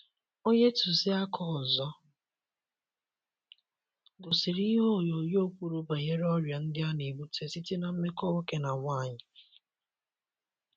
Onye tụziaka ọzọ gosiri ihe onyonyo kwuru banyere ọrịa ndị a na - ebute site ná mmekọ nwoke na nwanyi.